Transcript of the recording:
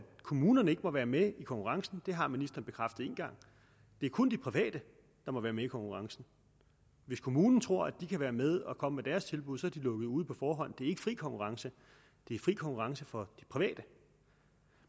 kommunerne ikke være med i konkurrencen det har ministeren bekræftet én gang det er kun de private der må være med i konkurrencen hvis kommunerne tror at de kan være med og komme med deres tilbud er de lukket ude på forhånd er ikke fri konkurrence det er fri konkurrence for de private